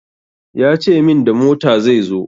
Ya ce min da mota zai zo.